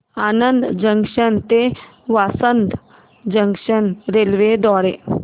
Anand junction ते Vasad junction railway द्वारे